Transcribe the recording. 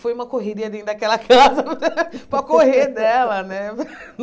Foi uma correria dentro daquela casa para correr dela, né?